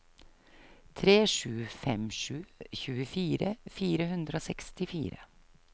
tre sju fem sju tjuefire fire hundre og sekstifire